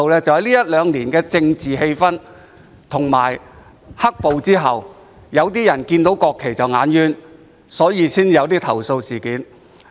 就是因為這一兩年的政治氣氛，以及"黑暴"後有些人看到國旗便覺得礙眼，因此才會出現投訴事件。